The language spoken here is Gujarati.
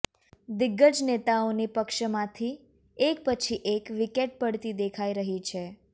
દિગ્ગજ નેતાઓની પક્ષમાંથી એક પછી એક વિકેટ પડતી દેખાઇ રહી છે